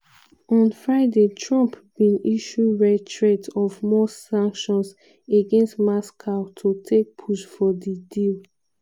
on friday trump bin issue rare threat of more sanctions against moscow to take push for di deal.